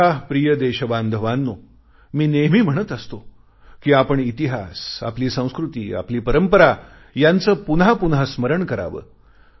माझ्या प्रिय देशबांधवांनो मी नेहमी म्हणत असतो कि आपण इतिहास आपली संस्कृती आपली परंपरा यांचे पुन्हा पुन्हा स्मरण करावे